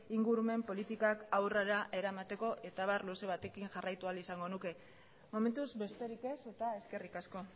ingurumen politikak aurrera eramateko eta abar luze batekin jarraitu ahal izango nuke momentuz besterik ez eta eskerrik asko